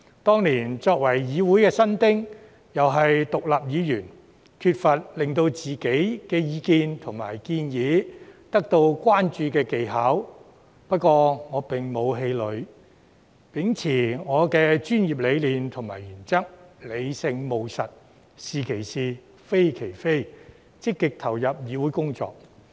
當年，我作為議會新丁，又是獨立議員，缺乏令自己的意見及建議得到關注的技巧，不過，我沒有氣餒，而是秉持我的專業理念和原則，理性務實，"是其是，非其非"，積極投入議會工作。